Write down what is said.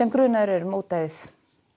grunaður um ódæðið